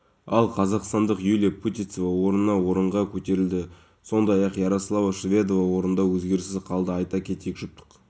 ұйымдастырылатын акция емес енді тұрғындар жиі келетін орындарда өткізіледі бұдан бөлек болашақта облыстың шалғай аудандандарын